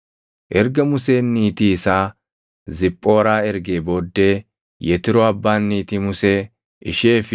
Erga Museen niitii isaa Ziphooraa ergee booddee Yetroo abbaan niitii Musee, ishee fi